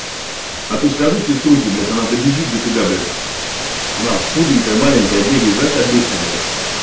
а то скажу сеструхе блять она добежит до тебя блять она худенькая маленькая бегает знаешь как быстро блять